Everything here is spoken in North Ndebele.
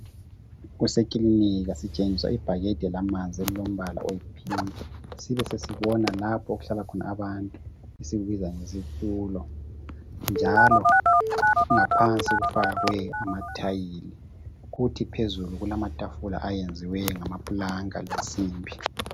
Kusekilinika sitshengiswa ibhakede lamanzi elilombala oyipink sibesesibona lapho okuhlala khona abantu esikubiza ngesitulo njalo ngaphansi kufakwe amathayili kuthi phezulu kulamatafula ayenziweyo ngamaplanka lensimbi.